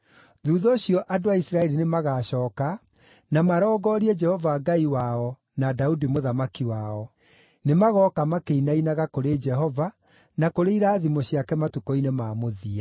Thuutha ũcio andũ a Isiraeli nĩmagacooka na marongorie Jehova Ngai wao na Daudi mũthamaki wao. Nĩmagooka makĩinainaga kũrĩ Jehova na kũrĩ irathimo ciake matukũ-inĩ ma mũthia.